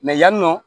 yannɔ